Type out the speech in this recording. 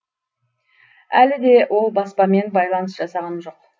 әлі де ол баспамен байланыс жасағаным жоқ